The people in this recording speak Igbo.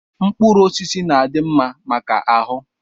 Mkpụrụ osisi na-adị mma maka ahụ.